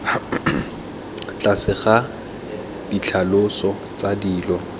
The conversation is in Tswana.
tlase ga ditlhaloso tsa dilo